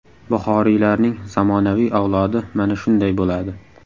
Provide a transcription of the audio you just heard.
Buxoriylarning zamonaviy avlodi mana shunday bo‘ladi!